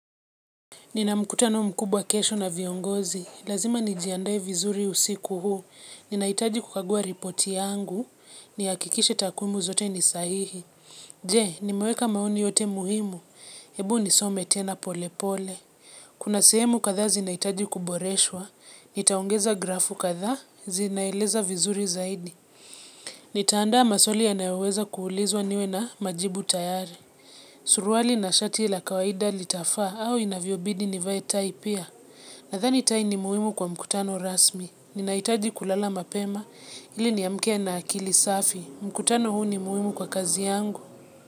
Nina mkutano mkubwa kesho na viongozi. Lazima nijiandae vizuri usiku huu. Ninaitaji kukagua ripoti yangu. Ni hakikishe takwimu zote ni sahihi. Je, nimeweka maoni yote muhimu. Hebu nisome tena pole pole. Kuna sehemu kadhaa zinaitaji kuboreshwa. Nitaongeza grafu kadhaa zinaeleza vizuri zaidi. Nitaandaa maswali ya nayoweza kuulizwa niwe na majibu tayari. Suruali na shati la kawaida litafaa au inavyo bidi nivae tai pia. Nathani tai ni muhimu kwa mkutano rasmi. Ninaitaji kulala mapema ili niamke na akili safi. Mkutano huu ni muhimu kwa kazi yangu.